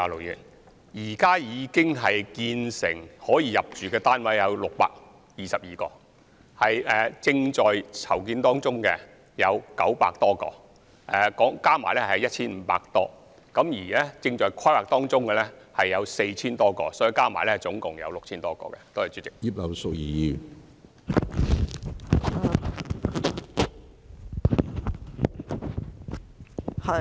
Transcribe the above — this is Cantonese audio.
現時已建成及可入住的單位共有622個，正在籌建當中的有900多個，合共便有 1,500 多個，而正在規劃當中的有 4,000 多個，所以合共有 6,000 多個。